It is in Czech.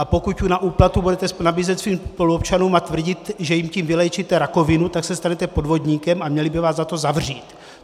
A pokud za úplatu budete nabízet svým spoluobčanům a tvrdit, že jim tím vyléčíte rakovinu, tak se stanete podvodníkem a měli by vás za to zavřít.